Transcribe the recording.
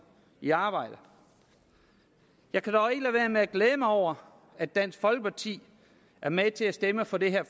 i arbejde jeg kan dog ikke lade være med at glæde mig over at dansk folkeparti er med til at stemme for det her